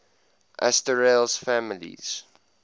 asterales families